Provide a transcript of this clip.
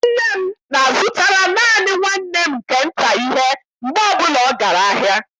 Nne m na-azụtara naanị nwanne m nke nta ihe mgbe ọbụla ọ gara ahịa.